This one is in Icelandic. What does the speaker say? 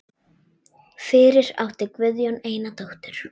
Fyrir átti Guðjón eina dóttur.